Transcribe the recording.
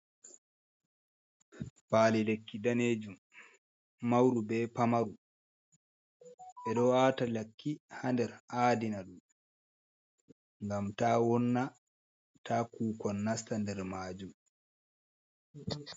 Palilekki danejun mauru be pamaru, be do wata lakki hader adina dum gam ta wonna ta kukon nasta der majum.